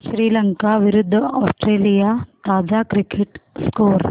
श्रीलंका विरूद्ध ऑस्ट्रेलिया ताजा cricket score